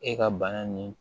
E ka bana nin